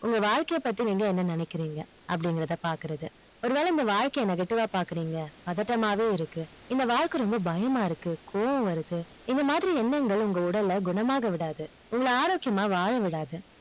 உங்க வாழ்க்கை பத்தி நீங்க என்ன நினைக்கிறிங்க அப்டின்னு பாக்குறது ஒரு வேளை உங்க வாழ்க்கை negative அ பாக்கறீங்க பதட்றமாவே இருக்கு இந்த வாழ்க்கை ரொம்ப பயமா இருக்கு கோவம் வருது இந்த மாதிரி எண்ணங்கள் உங்க உடல குணமாக விடாது உங்கள ஆரோக்கியமா வாழ விடாது